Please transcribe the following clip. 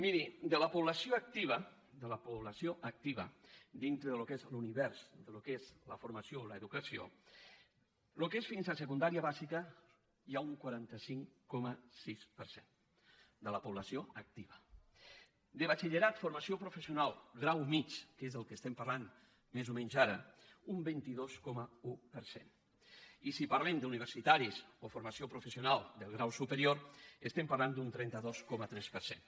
miri de la població activa de la població activa dintre del que és l’univers del que és la formació o l’educació el que és fins a secundària bàsica hi ha un quaranta cinc coma sis per cent de la població activa de batxillerat formació professional grau mitjà que és del que estem parlant més o menys ara un vint dos coma un per cent i si parlem d’universitaris o formació professional de grau superior estem parlant d’un trenta dos coma tres per cent